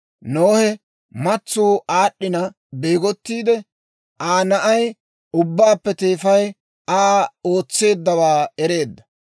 Nohe matsuu aad'd'ina beegottiide, Aa na'ay ubbaappe teefay Aa ootseeddawaa ereedda.